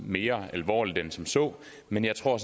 mere alvorligt end som så men jeg tror